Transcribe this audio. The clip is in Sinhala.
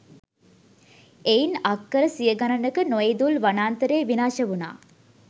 එයින් අක්කර සිය ගණනක නොඉඳුල් වනාන්තරය විනාශ වුනා.